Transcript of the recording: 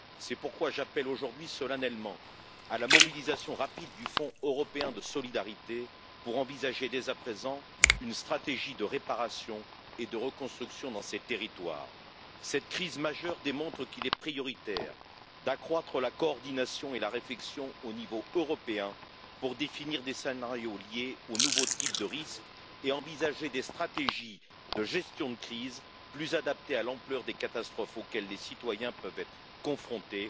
C'est pourquoi j'appelle aujourd'hui solennellement à la mobilisation rapide du Fonds européen de solidarité pour envisager, dès à présent, une stratégie de réparation et de reconstruction dans ces territoires. Cette crise majeure démontre qu'il est prioritaire d'accroître la coordination et la réflexion au niveau européen pour définir des scénarios liés aux nouveaux types de risques et envisager des stratégies de gestion de crise plus adaptées à l'ampleur des catastrophes auxquelles les citoyens peuvent être confrontés,